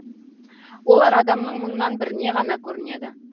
олар адамның мыңнан біріне ғана көрінеді